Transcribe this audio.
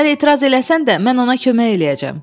Sən etiraz eləsən də, mən ona kömək eləyəcəm.